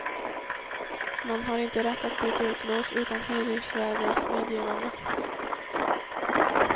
Man har inte rätt att byta ut lås utan hyresvärdens medgivande.